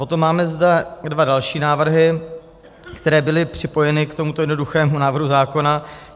Potom zde máme dva další návrhy, které byly připojeny k tomuto jednoduchému návrhu zákona.